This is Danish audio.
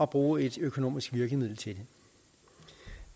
bruges et økonomisk virkemiddel til